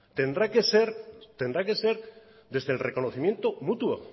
tendrá que ser desde el reconocimiento mutuo